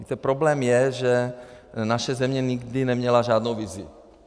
Víte, problém je, že naše země nikdy neměla žádnou vizi.